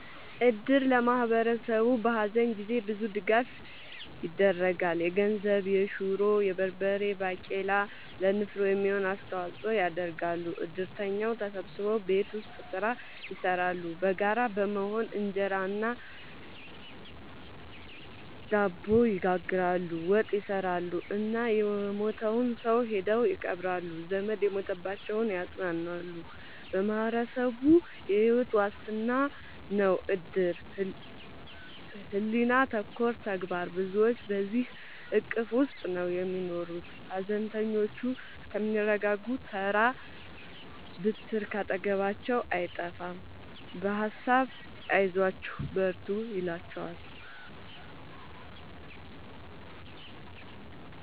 እድር ለማህበረሰቡ በሀዘን ጊዜ ብዙ ድጋፍ ይደረጋል። የገንዘብ፣ የሹሮ፣ የበርበሬ ባቄላ ለንፍሮ የሚሆን አስተዋጽኦ ያደርጋሉ። እድርተኛው ተሰብስቦ ቤት ውስጥ ስራ ይሰራሉ በጋራ በመሆን እንጀራ እና ድብ ይጋግራሉ፣ ወጥ ይሰራሉ እና የሞተውን ሰው ሄደው ይቀብራሉ። ዘመድ የሞተባቸውን ያፅናናሉ በማህበረሰቡ የሕይወት ዋስትና ነው እድር ሕሊና ተኮር ተግባር ብዙዎች በዚሕ እቅፍ ውስጥ ነው የሚኖሩት ሀዘነተኞቹ እስከሚረጋጉ ተራ ብትር ካጠገባቸው አይጠፍም በሀሳብ አይዟችሁ በርቱ ይሏቸዋል።